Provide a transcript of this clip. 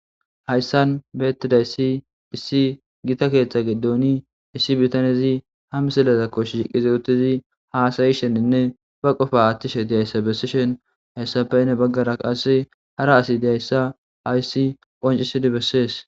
Hayssan bettizayssi issi giitta keththa giddon issi biittanezi ha misilezakko shiiqqidi uuttidii hassayishenne bq qoopa aaththishe dizayssa besishin hayssappe hani baggara qasekka hara asi dizayssa hayssi qonccisidii besses